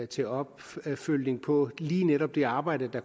til opfølgning på lige netop det arbejde der